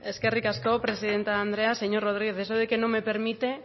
eskerrik asko presidente andrea señor rodriguez eso de que no me permite